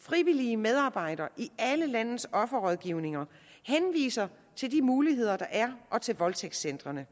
frivillige medarbejdere i alle landets offerrådgivninger henviser til de muligheder der er og til voldtægtscentrene